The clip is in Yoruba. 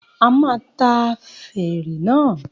A máa ta fèrè náà